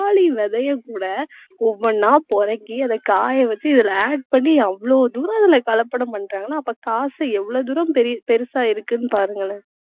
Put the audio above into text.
பப்பாளி விதைய கூட ஒவ்வொண்ணா பொறுக்கி அதைக் காய வச்சு, இதில add பண்ணி அவ்வளவு தூரம் இதில கலப்படம் பண்றாங்கன்னா அப்ப காசு எவ்வளவு தூரம் பெ~ பெருசா இருக்குன்னு பாருங்களேன்.